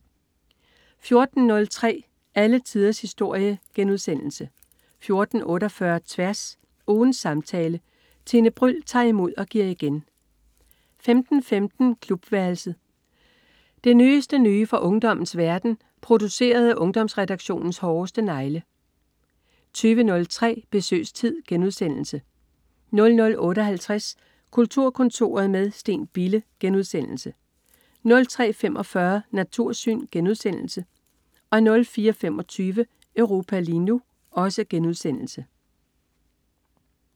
14.03 Alle tiders historie* 14.48 Tværs. Ugens samtale. Tine Bryld tager imod og giver igen 15.15 Klubværelset. Det nyeste nye fra ungdommens verden, produceret af Ungdomsredaktionens hårdeste negle 20.03 Besøgstid* 00.58 Kulturkontoret med Steen Bille* 03.45 Natursyn* 04.25 Europa lige nu*